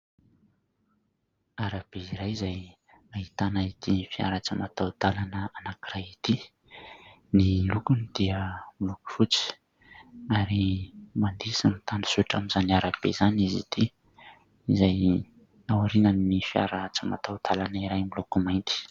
Arabe iray izay ahitana ity fiara tsy mataho-dalana anankiray ity. Ny lokony dia loko fotsy ary mandeha sy mitanjozotra amin'izany arabe izany izy ity, izay aorian'ny fiara tsy mataho-dalana iray moloko mainty.